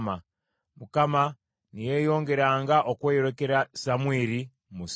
Mukama ne yeeyongeranga okweyolekera Samwiri mu Siiro.